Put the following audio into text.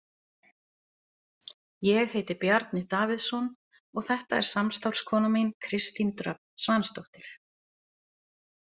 Ég heiti Bjarni Davíðsson og þetta er samstarfskona mín, Kristín Dröfn Svansdóttir.